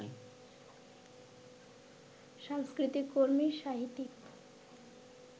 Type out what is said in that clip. সাংস্কৃতিক কর্মী, সাহিত্যিক